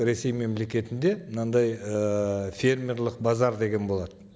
ресей мемлекетінде мынандай ііі фермерлік базар деген болады